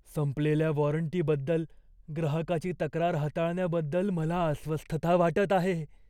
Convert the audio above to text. संपलेल्या वॉरंटीबद्दल ग्राहकाची तक्रार हाताळण्याबद्दल मला अस्वस्थता वाटत आहे.